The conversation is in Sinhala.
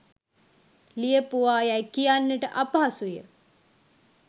ලියපුවා යැයි කියන්නට අපහසු ය